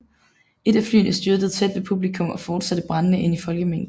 Et af flyene styrtede tæt ved publikum og fortsatte brændende ind i folkemængden